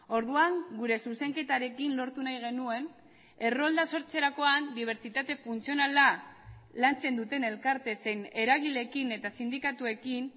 orduan gure zuzenketarekin lortu nahi genuen errolda sortzerakoan dibertsitate funtzionala lantzen duten elkarte zein eragileekin eta sindikatuekin